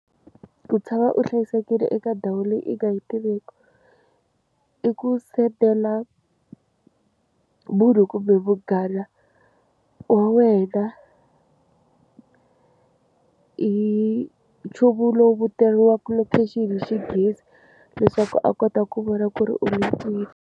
Ku tshama u hlayisekile eka ndhawu leyi i nga yi tiveki i ku sendela munhu kumbe vunghana wa wena hi nchumu lowu vitaniwaka location hi xinghezi leswaku a kota ku vona ku ri u le kwini.